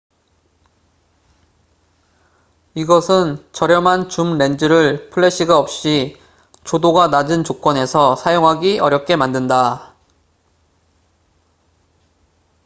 이것은 저렴한 줌 렌즈를 플래시가 없이 조도가 낮은 조건에서 사용하기 어렵게 만든다